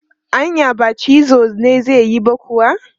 Anya ba cizo na zai yi ba kuwa?